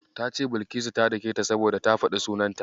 Ta ce Bilkisu ta daketa saboda ta faɗi sunanta.